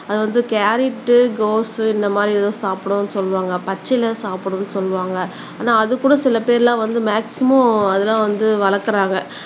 அத வந்து கேரட், கோஸ் இந்த மாதிரி ஏதும் சாப்பிடும்னு சொல்லுவாங்க பச்சிலை சாப்பிடும்னு சொல்லுவாங்க ஆனா அதுகூட சிலபேர் எல்லாம் வந்து மேக்ஸிமம் அதெல்லாம் வந்து வளர்க்கிறாங்க